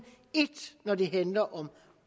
et når det handler om